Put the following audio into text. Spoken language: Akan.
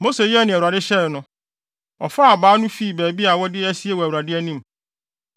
Mose yɛɛ nea Awurade hyɛe no. Ɔfaa abaa no fii baabi a wɔde asie wɔ Awurade anim.